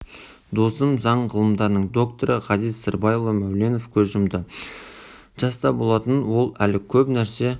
досым заң ғылымдарының докторы ғазиз сырбайұлы мәуленов көз жұмды жаста болатын ол әлі көп нәрсе